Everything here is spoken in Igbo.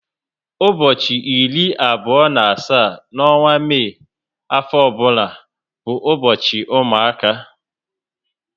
Ụbọchị iri abụo na asaá n'onwa Mai afo ọbụna bu ubochi ụmụaka